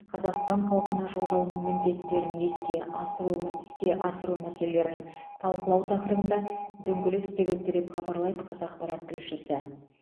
қазақстан халқына жолдауының міндеттерін еске асыру мә іске асыру мәселелерін талқылау тақырыбында дөңгелек үстел өтті деп хабарлайды қазақпарат тілшісі